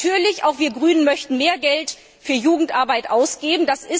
Natürlich möchten wir Grünen auch mehr Geld für Jugendarbeit ausgeben.